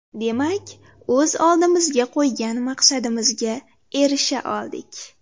Demak, o‘z oldimizga qo‘ygan maqsadimizga erisha oldik.